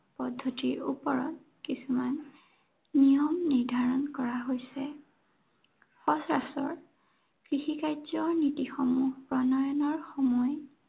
পদ্ধতিৰ ওপৰত কিছুমান নিয়ম নিৰ্ধাৰন কৰা হৈছে। সচৰাচৰ, কৃষি কাৰ্য নীতিসমূহ প্ৰণয়নৰ সময়